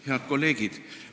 Head kolleegid!